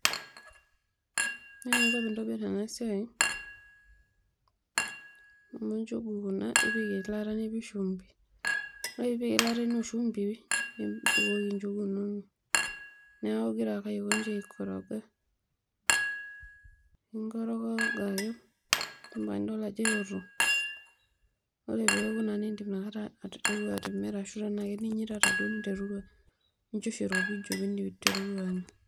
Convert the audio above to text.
Ore eninko peintobirr enasiai naa amu nchugu kuna, ipik eilata nipik shumbi, ore peipik eilata ino oshumbi nibukoki nchugu inonok, neaku ingura ake aikonji aikoroga, nikooroga ake ampaka nidol ajo eoto, ore peoku nidotu aiteru atimira ashu nchosho iropiju pinteruru anya.